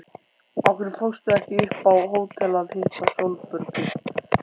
Af hverju fórstu ekki upp á hótel að hitta Sólborgu?